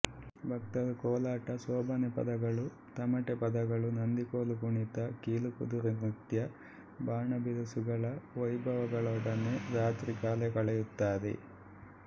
ಭಕ್ತರು ಕೋಲಾಟ ಸೋಬಾನೆ ಪದಗಳು ತಮಟೆ ಪದಗಳು ನಂದಿಕೋಲು ಕುಣಿತ ಕೀಲುಕುದುರೆ ನೃತ್ಯ ಬಾಣಬಿರುಸುಗಳ ವೈಭವಗಳೊಡನೆ ರಾತ್ರಿ ಕಾಲ ಕಳೆಯುತ್ತಾರೆ